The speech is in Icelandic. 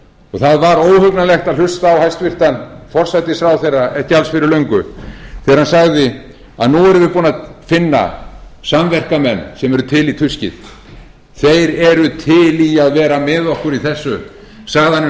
og það var óhugnanlegt að hlusta á hæstvirtan forsætisráðherra ekki alls fyrir löngu þegar hann sagði að nú værum við búnir að finna samverkamenn sem væru til í tuskið þeir væru til í að vera með okkur í þessu sagan um